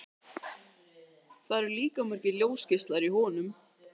Það eru líka margir ljósgeislar í honum.